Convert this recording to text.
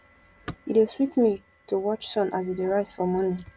e dey sweet me to watch sun as e dey rise for morning